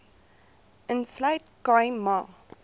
insluit khai ma